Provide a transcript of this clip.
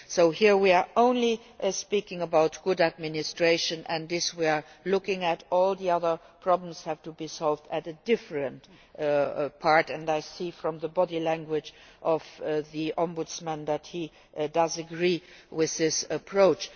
So, here, we are only speaking about good administration and this we are looking at. All the other problems have to be solved at a different point and I see from the body language of the Ombudsman that he does agree with this approach.